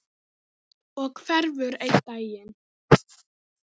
Og hverfur einn daginn.